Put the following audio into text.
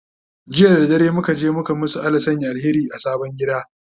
jiya da dare muka je muka masu Allah ya Sanya alheri a sabon gida